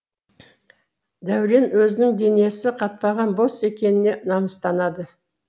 дәурен өзінің денесі қатпаған бос екеніне намыстанады